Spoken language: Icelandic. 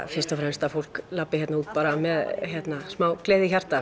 fyrst og fremst að fólk labbi út með smá gleði í hjarta